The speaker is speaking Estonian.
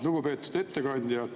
Lugupeetud ettekandja!